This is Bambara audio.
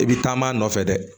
I bi taama nɔfɛ dɛ